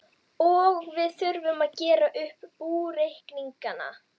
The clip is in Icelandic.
Og við þurfum að gera upp búreikningana!